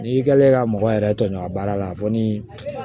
N'i kɛlen ka mɔgɔ yɛrɛ tɔɲɔn a baara la a fɔ ni